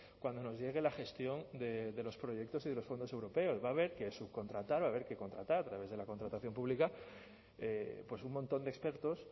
cuando nos llegue la gestión de los proyectos y de los fondos europeos va a haber que subcontratar va a haber que contratar a través de la contratación pública un montón de expertos